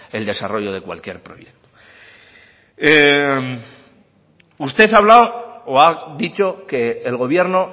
el desarrollo de cualquier proyecto usted ha hablado o ha dicho que el gobierno